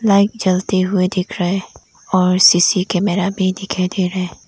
Light जलते हुए दिख रहा है और सी_सी कैमरा भी दिखाई दे रहा है।